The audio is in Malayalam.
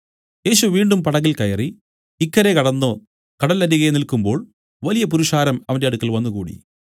യേശു വീണ്ടും പടകിൽ കയറി ഇക്കരെ കടന്നു കടലരികെ നിൽക്കുമ്പോൾ വലിയ പുരുഷാരം അവന്റെ അടുക്കൽ വന്നുകൂടി